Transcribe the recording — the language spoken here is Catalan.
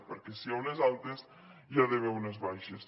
perquè si hi ha unes altes hi ha d’haver unes baixes